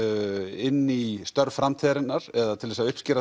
inn í störf framtíðarinnar eða til að uppskera